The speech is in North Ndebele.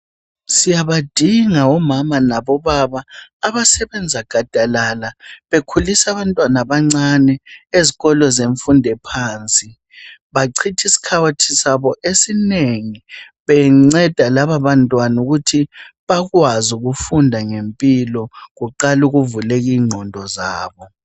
Siyabadinga omama labobaba abasebenza gadalala bekhulisa abantwana abancane ezikolo zemfundo ephansi. Bachithi iskhathi sabo esinengi benceda labo bantwana ukuthi bakwaze ukufunda ngempilo kuqale ukuvuleka inqondo zabo.